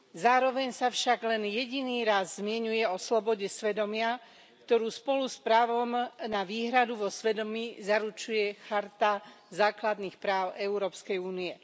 Zároveň sa však len jediný raz zmieňuje o slobode svedomia, ktorú spolu s právom na výhradu vo svedomí zaručuje Charta základných práv Európskej únie.